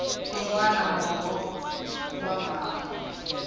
yin wana mongo wa mhaka